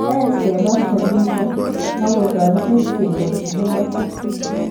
Aech kemach keamishe akotaretech kenyor chekimech